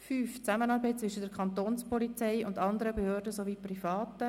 5 Zusammenarbeit zwischen der Kantonspolizei und anderen Behörden sowie Privaten.